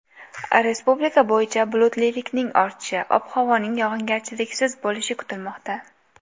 Respublika bo‘yicha bulutlilikning ortishi, ob-havoning yog‘ingarchiliksiz bo‘lishi kutilmoqda.